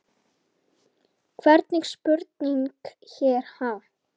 Hvernig spurning hér, ha?